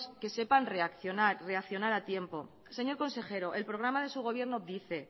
que sepan reaccionar reaccionar a tiempo señor consejero el programa de su gobierno dice